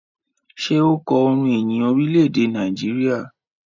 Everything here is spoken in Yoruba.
Ṣe o kò orin ìyìn Orilẹ-ede Nàìjíríà?